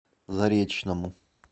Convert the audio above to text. заречному